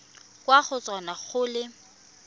kwa go tona go le